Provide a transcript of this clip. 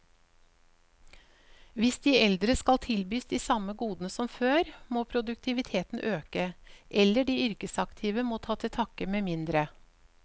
Hvis de eldre skal tilbys de samme godene som før, må produktiviteten øke, eller de yrkesaktive må ta til takke med mindre.